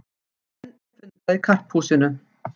Enn fundað í Karphúsinu